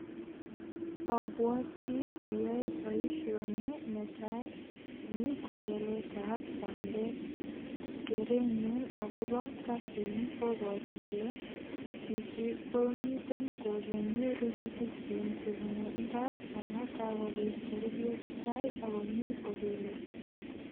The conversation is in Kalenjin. Abwati ayoe boisioni netai. Ni kobeletab bandek. Kerenyu agobo kasini koboru kole chichi komiten kogennye rurutikyik che bunu imbar amun kagopit koruryo chetai ak komi kopele.